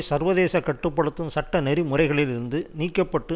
சர்வதேச கட்டு படுத்தும் சட்ட நெறி முறைகளிலிருந்து நீக்க பட்டு